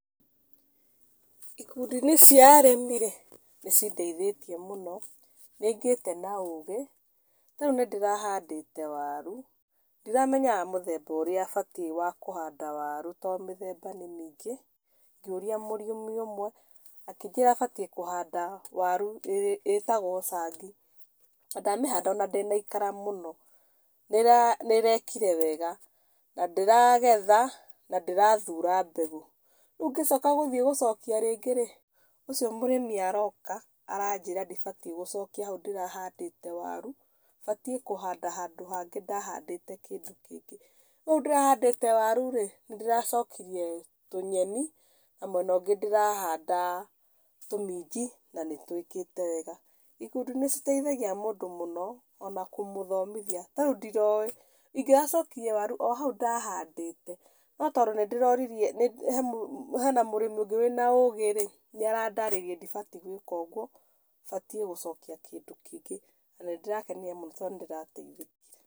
Ikũndi-inĩ cia arĩmĩ rĩ, nĩ cindeithĩtie mũno. Nĩ ngĩte na ũgĩ, ta rĩu nĩ ndĩrahandĩte warũ. Ndiramenyaga mũthemba batiĩ kũhanda waru tondũ mĩthemba nĩ mĩingĩ .Ngĩũria mũrĩmi ũmwe, akĩnjĩra batiĩ kũhanda waru ĩtagwo cangi, na ndamĩhanda ona ndĩnaikara mũno. Nĩ ĩrekire wega na ndĩragetha, na ndĩrathũra mbegũ rĩũ ngĩcoka gũthiĩ gũcokia rĩngĩ rĩ, ũcio mũrĩmĩ aroka, aranjĩra ndibatiĩ gũcokia haũ ndĩrahandĩte waru, batiĩ kũhanda handũ hangĩ ndahandĩte kĩndũ kĩngĩ. Kũu ndĩrahandĩte waru rĩ, nĩ ndĩracokirie tũnyeni, na mwena ũngĩ ndĩrahanda tũminji na nĩ twĩkĩte wega. Ikundi nĩ iteithagia mũndũ mũno, ona kũmũthomithia ta rĩu ndiroĩ, ingĩracokirie waru o hau ndahandĩte, no tondũ he na mũrĩmi ũngĩ wĩ na ũgĩ rĩ, nĩ arandarĩirie ndibatiĩ gwĩka ũguo, batiĩ gũcokia kĩndũ kĩngĩ, na nĩ ndĩrakenire mũno tondũ nĩ ndĩrateithĩkire.